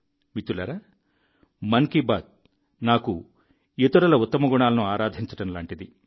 మిత్రులారా మన్ కీ బాత్ నాకు ఇతరుల ఉత్తమ గుణాలను ఆరాధించడం లాంటిది